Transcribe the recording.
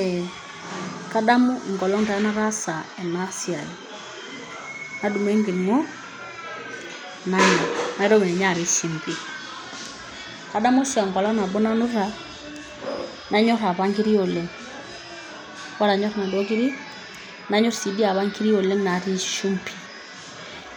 Ee kadamu enkolong' taa nataasa ena siai, nadumu enkiring'o nanya naitoki ninye apik shimbi. Adamu oshi enkolong' nabo nanuta nanyor apa nkiri oleng' ore anyor naduo kirik nanyor sii dii apa nkiri oleng' natii shimbi.